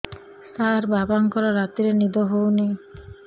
ସାର ବାପାଙ୍କର ରାତିରେ ନିଦ ହଉନି